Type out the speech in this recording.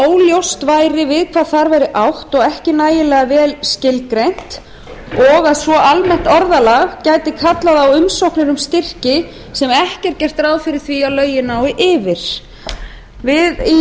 óljóst væri við hvað þar væri átt og ekki nægilega vel skilgreint og að svo almennt orðalag gæti kallað á umsóknir um styrki sem ekki er gert ráð fyrir að lögin nái yfir við í nefndinni